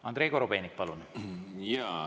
Andrei Korobeinik, palun!